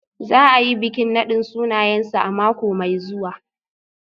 Za a yi bikin nadin sunayensu a mako mai zuwa.